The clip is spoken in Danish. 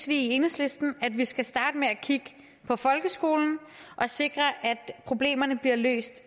i enhedslisten at vi skal starte med at kigge på folkeskolen og sikre at problemerne bliver løst